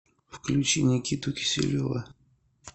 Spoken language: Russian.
включи никиту киселева